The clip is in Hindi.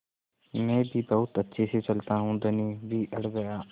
मैं भी बहुत अच्छे से चलता हूँ धनी भी अड़ गया